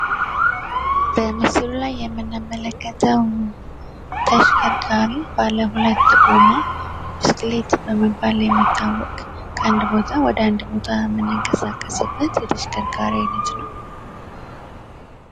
በምስሉ ላይ የምንመለከተው ተሽከርካሪ ባለሁለት ጎማ ብስክሌት በመባል የሚታወቅ ከአንድ ቦታ ወደ አንድ ቦታ የምንቀሳቀስበት የተሽከርካሪ አይነት ነው።